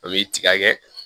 A bɛ tiga kɛ